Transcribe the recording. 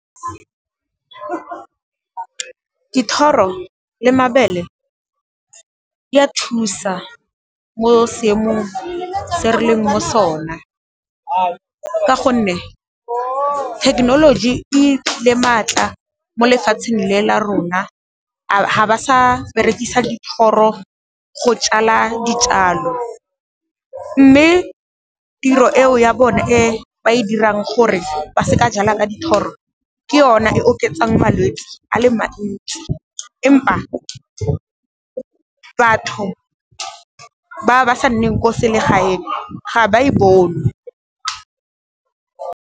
Dithoro le mabele, di a thusa mo seemong se re leng mo sona ka gonne, technology e phile maatla mo lefatsheng le la rona ga ba sa berekisa dithoro go jala dijalo, mme tiro eo ya bone e ba e dirang gore ba se ka jala ka dithoro ke yone e oketsang malwetse a le mantsi empa, batho ba ba sa nneng ko selegae teng ga ba e bone.